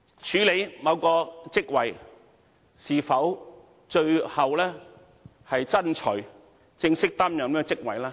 署任某個職位是否最後是正式擔任該職位呢？